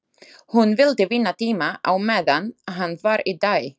Hún vildi vinna tíma á meðan hann var í dái.